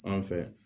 An fɛ